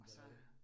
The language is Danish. Det jo det